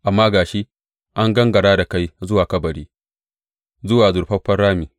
Amma ga shi an gangara da kai zuwa kabari, zuwa zurfafan rami.